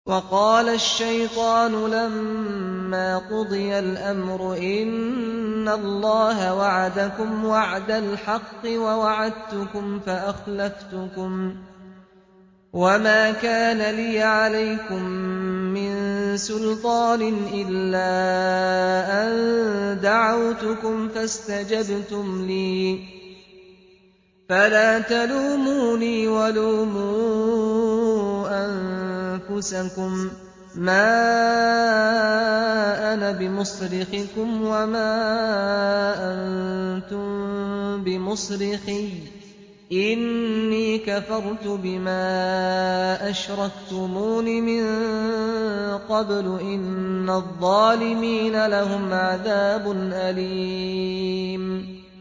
وَقَالَ الشَّيْطَانُ لَمَّا قُضِيَ الْأَمْرُ إِنَّ اللَّهَ وَعَدَكُمْ وَعْدَ الْحَقِّ وَوَعَدتُّكُمْ فَأَخْلَفْتُكُمْ ۖ وَمَا كَانَ لِيَ عَلَيْكُم مِّن سُلْطَانٍ إِلَّا أَن دَعَوْتُكُمْ فَاسْتَجَبْتُمْ لِي ۖ فَلَا تَلُومُونِي وَلُومُوا أَنفُسَكُم ۖ مَّا أَنَا بِمُصْرِخِكُمْ وَمَا أَنتُم بِمُصْرِخِيَّ ۖ إِنِّي كَفَرْتُ بِمَا أَشْرَكْتُمُونِ مِن قَبْلُ ۗ إِنَّ الظَّالِمِينَ لَهُمْ عَذَابٌ أَلِيمٌ